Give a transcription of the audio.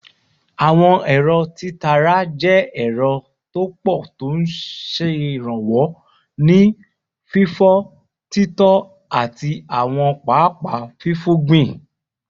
Àwọn ẹ̀rọ títara jẹ́ ẹ̀rọ tó pọ̀ tó ń ṣèrànwọ́ nínú fífọ́, títọ́, àti àwọn pápá fífúngbìn